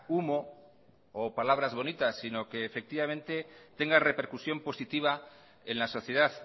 humo o palabras bonitas sino que tenga repercusión positiva en la sociedad